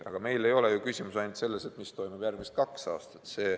Aga meil ei ole ju küsimus ainult selles, mis toimub järgmised kaks aastat.